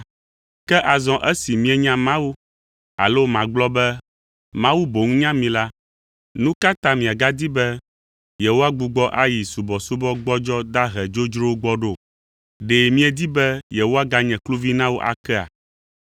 Ke azɔ esi mienya Mawu alo magblɔ be Mawu boŋ nya mi la, nu ka ta miagadi be yewoagbugbɔ ayi subɔsubɔ gbɔdzɔ, dahe, dzodzrowo gbɔ ɖo? Ɖe miedi be yewoaganye kluvi na wo akea?